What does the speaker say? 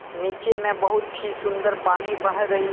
नीचे में बहुत ही सुंदर पानी बह रही--